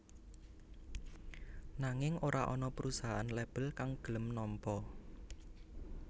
Nanging ora ana perusahaan label kang gelem nampa